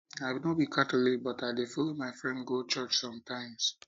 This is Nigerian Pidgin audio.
i no be catholic but i dey follow my friend go church sometimes